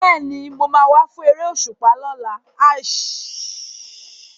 Bẹ́ẹ̀ni, mo máa wá fún eré òṣùpá.